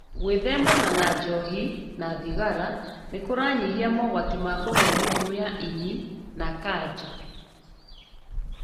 Gwĩthemana na njohi na thigara nĩkũranyihia mogwati ma kũgĩa mĩrimũ ya ini na kanja